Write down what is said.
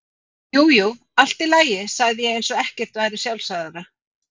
Jú jú, allt í lagi, sagði ég eins og ekkert væri sjálfsagðara.